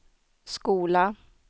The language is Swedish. skola